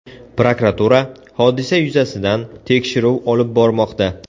Prokuratura hodisa yuzasidan tekshiruv olib bormoqda.